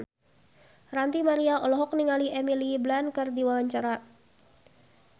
Ranty Maria olohok ningali Emily Blunt keur diwawancara